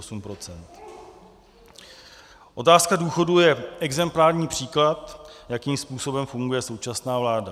Otázka důchodů je exemplární příklad, jakým způsobem funguje současná vláda.